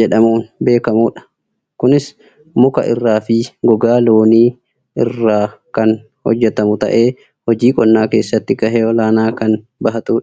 jedhamuun beekkmudha. Kunis muka irraafi gogaa loonii irraa kan hojjatamu ta'ee hojii qonnaa keessatti gahee olaanaa kan bahatudha